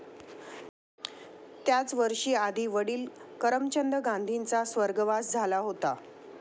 त्याच वर्षी आधी वडिल करमचंद गांधींचा स्वर्गवास झाला होता.